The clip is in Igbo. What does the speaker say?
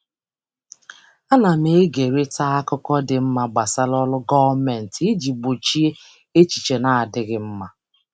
Ana m ekerịta akụkọ dị mma gbasara ọrụ gọọmentị iji gbochie echiche na-adịghị mma.